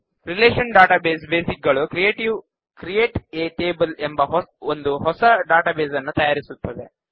relational database basic ಗಳು create a table ಎಂಬ ಒಂದು ಹೊಸ ಡೇಟಾಬೇಸ್ ನ್ನು ತಯಾರಿಸುತ್ತದೆ